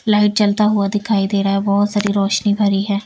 Light जलता हुआ दिखाई दे रहा है बहुत सारी रोशनी भरी है।